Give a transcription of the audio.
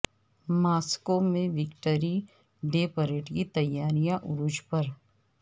Moscow میں victory day parade کی تیاریاں عروج پر